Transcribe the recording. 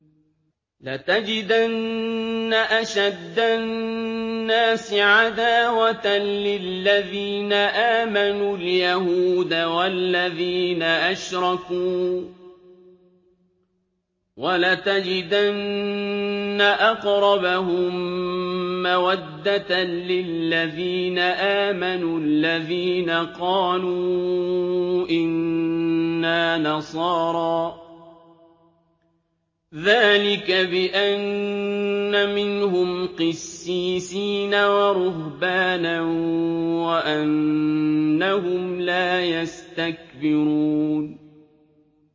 ۞ لَتَجِدَنَّ أَشَدَّ النَّاسِ عَدَاوَةً لِّلَّذِينَ آمَنُوا الْيَهُودَ وَالَّذِينَ أَشْرَكُوا ۖ وَلَتَجِدَنَّ أَقْرَبَهُم مَّوَدَّةً لِّلَّذِينَ آمَنُوا الَّذِينَ قَالُوا إِنَّا نَصَارَىٰ ۚ ذَٰلِكَ بِأَنَّ مِنْهُمْ قِسِّيسِينَ وَرُهْبَانًا وَأَنَّهُمْ لَا يَسْتَكْبِرُونَ